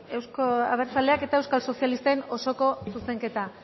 euzko abertzaleak eta euskal sozialisten osoko zuzenketa